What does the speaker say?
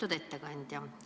Lugupeetud ettekandja!